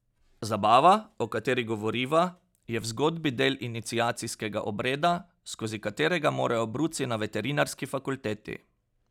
Zabava, o kateri govoriva, je v zgodbi del iniciacijskega obreda, skozi katerega morajo bruci na veterinarski fakulteti.